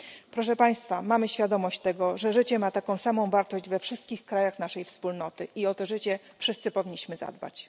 Proszę Państwa, mamy świadomość tego, że życie ma taką samą wartość we wszystkich krajach naszej Wspólnoty i o to życie wszyscy powinniśmy zadbać.